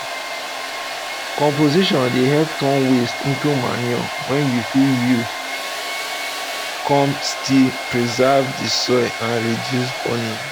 composting dey help turn watse into manure wey you fit use come still preserve the soil and reduce burning